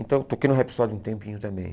Então eu toquei no Rhapsody um tempinho também.